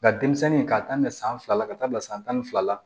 Nka denmisɛnnin k'a daminɛ san fila la ka taa bila san tan ni fila la